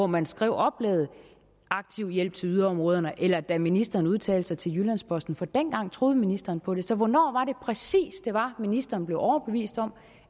man skrev oplægget aktiv hjælp til yderområderne eller da ministeren udtalte sig til jyllands posten dengang troede ministeren på det så hvornår var det præcis det var ministeren blev overbevist om